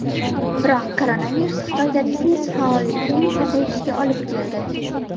Biroq koronavirus Xitoyda biznes faolligining pasayishiga olib keldi.